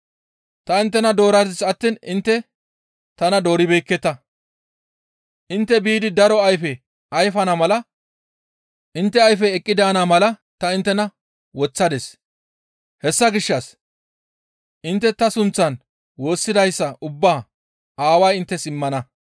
Ta inttena dooradis attiin intte tana dooribeekketa; intte biidi daro ayfe ayfana mala intte ayfey eqqi daana mala ta inttena woththadis; hessa gishshas intte ta sunththan woossidayssa ubbaa ta Aaway inttes immana.